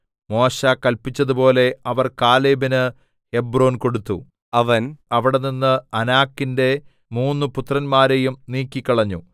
മോശെ കല്പിച്ചതുപോലെ അവർ കാലേബിന് ഹെബ്രോൻ കൊടുത്തു അവൻ അവിടെനിന്ന് അനാക്കിന്റെ മൂന്നു പുത്രന്മാരെയും നീക്കിക്കളഞ്ഞു